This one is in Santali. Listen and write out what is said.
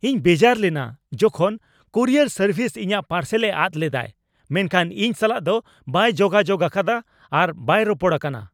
ᱤᱧ ᱵᱮᱡᱟᱨ ᱞᱮᱱᱟ ᱡᱚᱠᱷᱚᱱ ᱠᱩᱨᱤᱭᱟᱨ ᱥᱟᱨᱵᱷᱤᱥ ᱤᱧᱟᱹᱜ ᱯᱟᱨᱥᱮᱞᱮ ᱟᱫ ᱞᱮᱫᱟᱭ ᱢᱮᱱᱠᱷᱟᱱ ᱤᱧ ᱥᱟᱞᱟᱜ ᱫᱚ ᱵᱟᱭ ᱡᱳᱜᱟᱡᱳᱜ ᱟᱠᱟᱫᱟ ᱟᱨ ᱵᱟᱭ ᱨᱚᱯᱚᱲ ᱟᱠᱟᱱᱟ ᱾